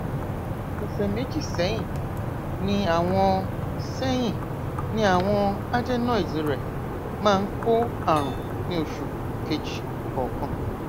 ọsẹ méjì sẹyìn ni àwọn sẹyìn ni àwọn adenoids rẹ máa ń kó àrùn ní oṣù kejì kọọkan